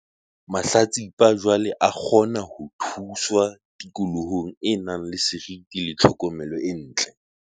Mahlatsipa jwale a kgona ho thuswa tikolohong e nang le seriti le tlhokomelo e ntle.